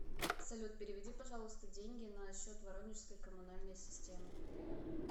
салют переведи пожалуйста деньги на счет воронежской комунальной системы